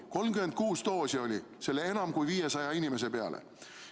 36 doosi oli tal nende enam kui 500 inimese peale.